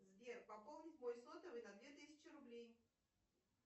сбер пополнить мой сотовый на две тысячи рублей